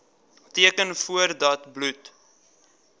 teken voordat bloed